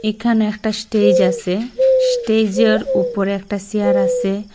এইখানে একটা স্টেজ আসে স্টেইজ -এর উপরে একটা চেয়ার আসে।